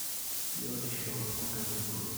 biotisho enkaitubului.